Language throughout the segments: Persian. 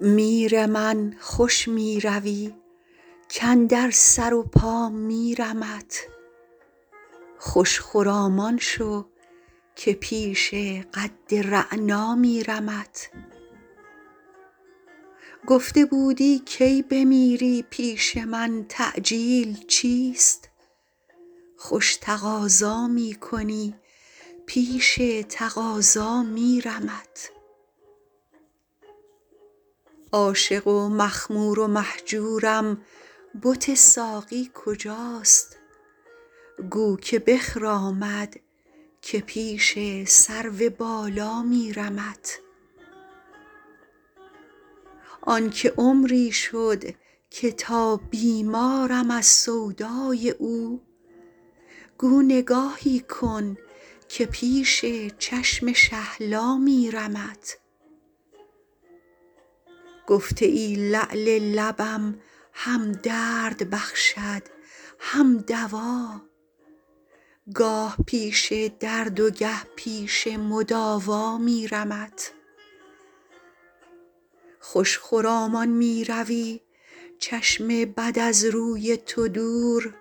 میر من خوش می روی کاندر سر و پا میرمت خوش خرامان شو که پیش قد رعنا میرمت گفته بودی کی بمیری پیش من تعجیل چیست خوش تقاضا می کنی پیش تقاضا میرمت عاشق و مخمور و مهجورم بت ساقی کجاست گو که بخرامد که پیش سرو بالا میرمت آن که عمری شد که تا بیمارم از سودای او گو نگاهی کن که پیش چشم شهلا میرمت گفته ای لعل لبم هم درد بخشد هم دوا گاه پیش درد و گه پیش مداوا میرمت خوش خرامان می روی چشم بد از روی تو دور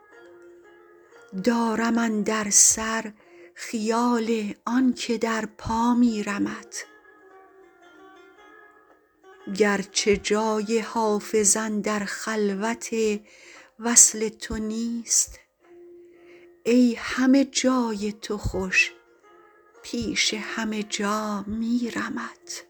دارم اندر سر خیال آن که در پا میرمت گرچه جای حافظ اندر خلوت وصل تو نیست ای همه جای تو خوش پیش همه جا میرمت